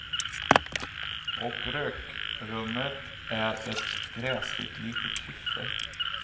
Och rökrummet är ett gräsligt litet kyffe.